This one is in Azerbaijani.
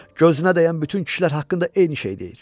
Gözünə dəyən bütün kişilər haqqında eyni şeyi deyir.